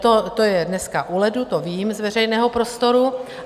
To je dneska u ledu, to vím z veřejného prostoru.